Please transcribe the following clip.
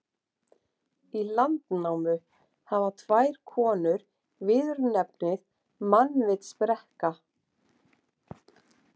Í Landnámu hafa tvær konur viðurnefnið mannvitsbrekka.